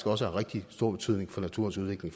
også har rigtig stor betydning for naturens udvikling